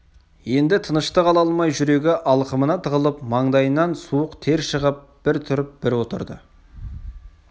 енді тыныштық ала алмай жүрегі алқымына тығылып маңдайынан суық тер шығып бір тұрып бір отырды